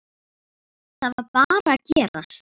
Það varð bara að gerast.